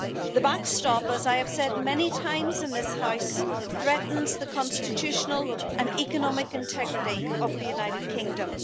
The backstop, as I have said many times in this House, threatens the constitutional and economic integrity of the United Kingdom.